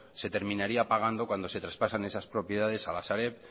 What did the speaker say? se terminaría pagando cuando se traspasan esas propiedades al sareb